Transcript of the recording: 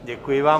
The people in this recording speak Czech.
Děkuji vám.